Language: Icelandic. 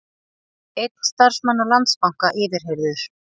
Einn starfsmanna Landsbanka yfirheyrður